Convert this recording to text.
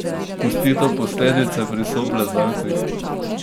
Pusti to posledice pri soplezalcih?